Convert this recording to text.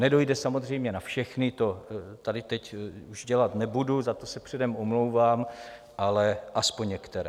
Nedojde samozřejmě na všechny, to tady teď už dělat nebudu, za to se předem omlouvám, ale aspoň některé.